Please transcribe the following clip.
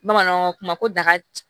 Bamananw kuma ko da